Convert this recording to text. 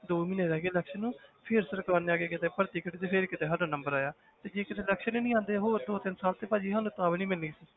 ਦੋ ਮਹੀਨੇ ਰਹਿ ਗਏ election ਨੂੰ ਫਿਰ ਸਰਕਾਰ ਨੇ ਆ ਕੇ ਕਿਤੇ ਭਰਤੀ ਕੀਤੇ ਤੇ ਫਿਰ ਕਿਤੇ ਸਾਡਾ number ਆਇਆ ਤੇ ਜੇ ਕਿਤੇ election ਹੀ ਨੀ ਆਉਂਦੇ ਹੋਰ ਕਿਤੇ ਦੋ ਤਿੰਨ ਸਾਲ ਤੇ ਭਾਜੀ ਸਾਨੂੰ ਤਾਂ ਵੀ ਨੀ ਮਿਲਣੀ ਸੀ